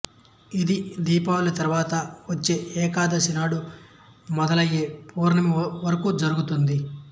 ఇది దీపావళి తరువాత వచ్చే ఏకాదశి నాడు మొదలై పౌర్ణమి వరకు జరుగుతుంది